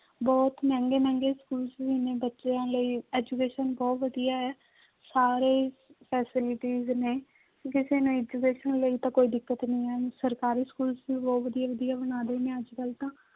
ਬਹੁਤ ਮਹਿੰਗੇ ਮਹਿੰਗੇ schools ਵੀ ਨੇ ਬੱਚਿਆਂ ਲਈ education ਬਹੁਤ ਵਧੀਆ ਹੈ ਸਾਰੇ facilities ਨੇ ਕਿਸੇ ਨੂੰ education ਲਈ ਤਾਂ ਕੋਈ ਦਿੱਕਤ ਨੀ ਹੈ, ਸਰਕਾਰੀ schools ਵੀ ਬਹੁਤ ਵਧੀਆ ਵਧੀਆ ਬਣਾ ਰਹੇ ਨੇ ਅੱਜ ਕੱਲ੍ਹ ਤਾਂ।